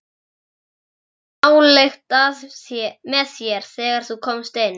Ég fann nálykt með þér, þegar þú komst inn.